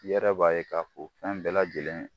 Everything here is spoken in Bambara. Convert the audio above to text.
I yɛrɛ b'a ye ka fɔ fɛn bɛɛ lajɛlen